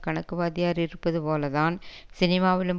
கணக்கு வாத்தியார் இருப்பது போல தான் சினிமாவிலும்